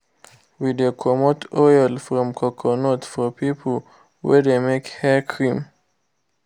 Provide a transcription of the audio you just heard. we de comot oil from coconut for people wey de make hair cream.